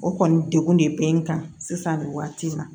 O kɔni degun de bɛ n kan sisan nin waati in na